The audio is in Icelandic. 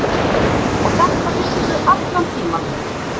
Og þetta vissirðu allan tímann.